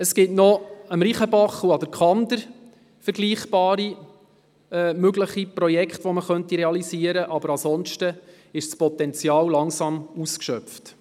Vergleichbare Projekte könnten noch am Reichenbach und an der Kander realisiert werden, aber ansonsten ist das Potenzial langsam ausgeschöpft.